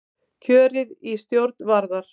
Kjörið í stjórn Varðar